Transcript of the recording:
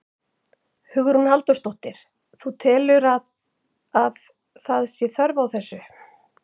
Hugrún Halldórsdóttir: Þú telur að, að það sé þörf á þessu?